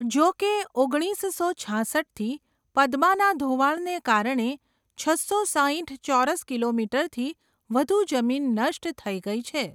જો કે, ઓગણીસસો છાસઠથી પદ્માના ધોવાણને કારણે છસો સાઇઠ ચોરસ કિલોમીટરથી વધુ જમીન નષ્ટ થઈ ગઈ છે.